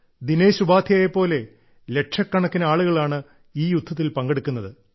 ദിനേശ് ഉപാദ്ധ്യായയെ പോലെ ലക്ഷക്കണക്കിന് ആളുകളാണ് ഈ യുദ്ധത്തിൽ പങ്കെടുക്കുന്നത്